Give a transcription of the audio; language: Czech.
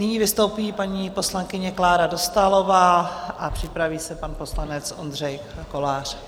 Nyní vystoupí paní poslankyně Klára Dostálová a připraví se pan poslanec Ondřej Kolář.